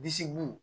Disi bo